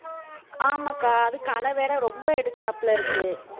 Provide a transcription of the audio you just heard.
ஆமாக்கா அது களை வேற ரொம்ப எடுக்கறாப்புல இருக்கு